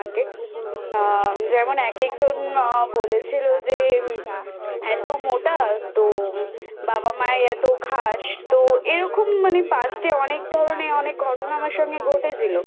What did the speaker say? আ যেমন এক একজন বলেছিলো যে এতো মোটা তো বাবা মায়ের এতো খাস তো এরকম মানে Past এ অনেক ধরণের অনেক ঘটনা আমার সঙ্গে ঘটেছিল